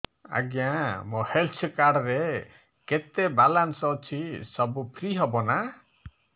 ଆଜ୍ଞା ମୋ health card ରେ କେତେ ବାଲାନ୍ସ ଅଛି ସବୁ ଫ୍ରି ହବ ନାଁ